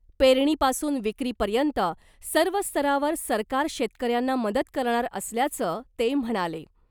पेरणीपासून विक्रीपर्यंत सर्व स्तरावर सरकार शेतकऱ्यांना मदत करणार असल्याचं ते म्हणाले .